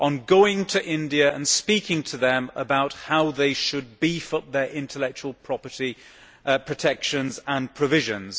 going to India and speaking to them about how they should beef up their intellectual property protection and provisions.